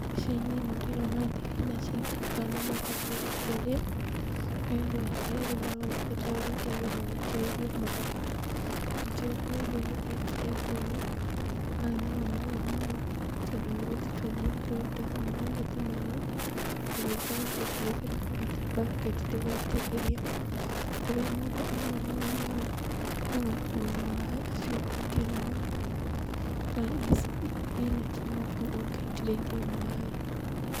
Mbica-inĩ ĩno ndĩrona thibinaji thaka na matharũ kũrĩa, kũrĩa andũ aya erĩ maroneka taarĩ gũitĩrĩria maraitĩrĩria maaĩ. Riita rĩakwa rĩa mbere rĩrĩa ndekire ũndũ ũyũ, warĩ na mĩnoga mũno, tondũ nĩ gũthii twathiaga tũgataha maaĩ gathima-inĩ tũgĩũkaga tũkuuĩte na bucket tũgaitĩrĩria, kũrĩa mũndũ anogaga mũno nĩ gũkuua maaĩ acuhĩtie na moko, na ici thibinanji no nginya ũngĩaitĩrĩirie maaĩ.